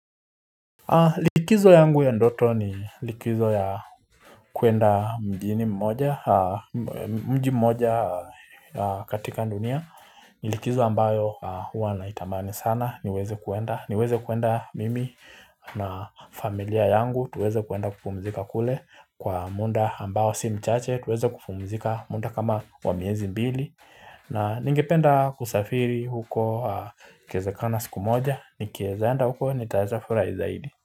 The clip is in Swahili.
Likizo yangu ya ndoto ni likizo ya kuenda mjini mmoja, mji mmoja katika dunia, ni likizo ambayo huwa naitamani sana, niweze kuenda, niweze kuenda mimi na familia yangu, tuweze kuenda kupumzika kule kwa muda ambao si mchache, tuweze kupumzika muda kama wa miezi mbili, na ningependa kusafiri huko ikewezekana siku moja, ni kiezaenda huko nitaweza furahi zaidi.